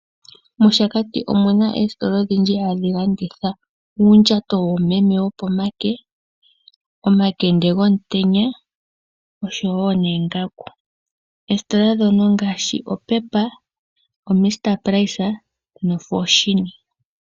MOshakati omu na oositola odhindji hadhi landitha uundjato woomeme wopomake, omakende gomutenya , oongaku nayilwe. Oositola ndhono ongaashi oPep, oMr price noFoschini.